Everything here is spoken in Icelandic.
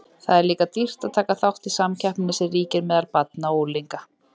Það er líka dýrt að taka þátt í samkeppninni sem ríkir meðal barna og unglinga.